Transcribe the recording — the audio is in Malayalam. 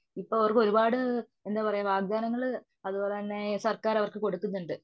ഇപ്പ അവർക്കു ഒരുപാടു വാഗ്താനങ്ങള് അതുപോലെതന്നെ സർക്കാർ അവർക്ക് കൊടുക്കുന്നുണ്ട്.